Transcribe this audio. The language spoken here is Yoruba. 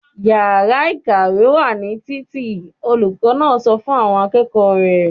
"Ìyàrá-ìkàwé wà ní títì!" Olùkọ́ náà sọ fún àwọn akẹ́kọ̀ọ́ rẹ̀.